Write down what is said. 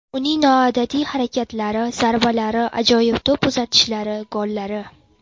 Uning noodatiy harakatlari, zarbalari, ajoyib to‘p uzatishlari, gollari.